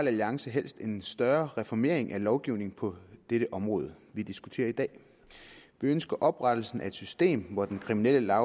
alliance helst en større reformering af lovgivningen på det område vi diskuterer i dag vi ønsker oprettelsen af et system hvor den kriminelle